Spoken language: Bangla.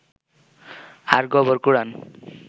আর গোবর কুড়ান